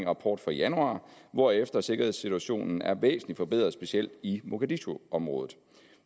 rapport fra januar hvorefter sikkerhedssituationen er væsentlig forbedret specielt i mogadishuområdet